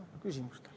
Vastan küsimustele.